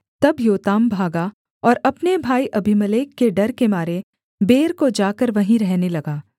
तब योताम भागा और अपने भाई अबीमेलेक के डर के मारे बेर को जाकर वहीं रहने लगा